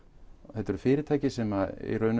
þetta eru fyrirtæki sem